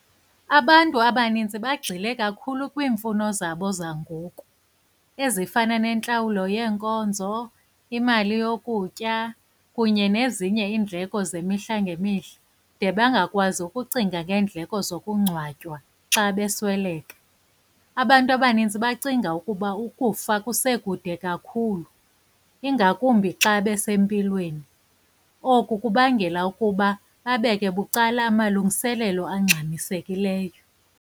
Abantu abaninzi bagxile kakhulu kwiimfuno zabo zangoku, ezifana nentlawulo yeenkonzo, imali yokutya kunye nezinye iindleko zemihla ngemihla, de bangakwazi ukucinga ngeendleko zokungcwatywa xa besweleka. Abantu abaninzi bacinga ukuba ukufa kusekude kakhulu, ingakumbi xa besempilweni. Oku kubangela ukuba babeke bucala amalungiselelo angxamisekileyo.